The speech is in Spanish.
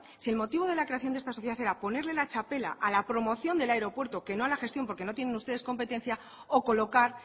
si el motivo de la creación de esta sociedad era ponerle la txapela a la promoción del aeropuerto que no a la gestión porque no tienen ustedes competencia o colocar